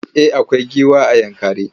Eh akwai giwa a Yankari.